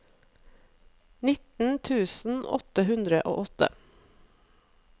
nitten tusen åtte hundre og åtte